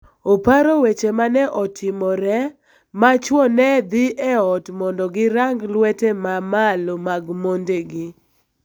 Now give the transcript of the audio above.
oparo weche ma ne otimore ma chwo ne dhi e ot mondo girang lwete ma malo mag mondegi